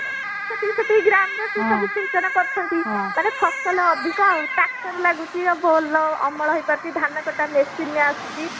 ସେତିକି ସେତିକି ଗ୍ରାମର ସେ ସବୁ ସିଞ୍ଚନ କରୁଛନ୍ତି ମାନେ ଫସଲ ଅଧିକ ଆଉ ଚାଷ ବି ଲାଗୁଛି ଆଉ ଅମଳ ହେଇପାରୁଛି ଧାନ କଟା machine ଆସୁଛି